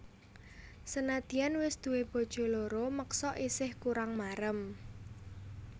Senadyan wis duwé bojo loro meksa isih kurang marem